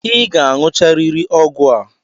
I ga-aṅụcharịrị ọgwụ a!